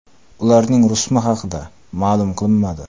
Ularning rusumi haqida ma’lum qilinmadi.